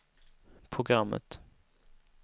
programmet